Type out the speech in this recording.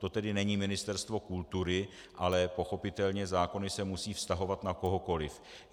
To tedy není Ministerstvo kultury, ale pochopitelně zákony se musí vztahovat na kohokoli.